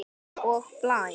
Og blæs.